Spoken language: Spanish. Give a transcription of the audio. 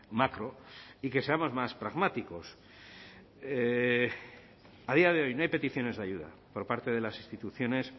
macro y que seamos más pragmáticos a día de hoy no hay peticiones de ayuda por parte de las instituciones